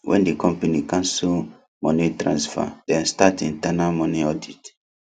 when the company cancel money transfer dem start internal money audit